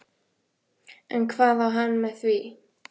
En hvað á hann við með því?